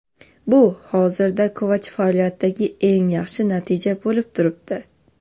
Bu hozirda Kovach faoliyatidagi eng yaxshi natija bo‘lib turibdi.